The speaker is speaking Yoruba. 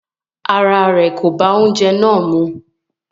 Ará rẹ̀ kò bá oúnjẹ náà mú.